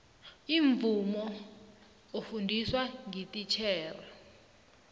imvumo ofundiswa ngititjhere